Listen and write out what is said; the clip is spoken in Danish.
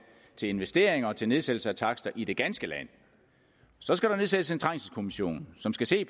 til investeringer og til nedsættelse af takster i det ganske land så skal der nedsættes en trængselskommission som skal se